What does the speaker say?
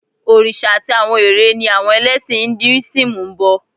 Òrìṣà àti àwọn eré ni àwọn ẹlẹ́sìn Induísímù ń bọ